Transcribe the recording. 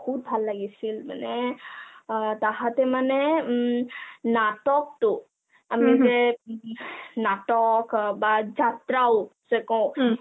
বহুত ভাল লাগিছিল মানে অ তাঁহাতেমানে উম নাটকটো আমি যে নাটক বা যাত্ৰাও যে কও